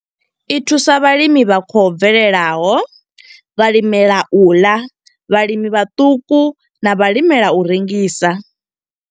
I thusa vhalimi vha khou bvelelaho, vhalimela u ḽa, vhalimi vhaṱuku na vhalimela u rengisa.